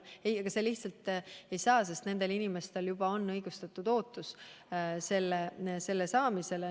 See ei saa kunagi nii olla, sest nendel inimestel on tekkinud õigustatud ootus saada pensioni.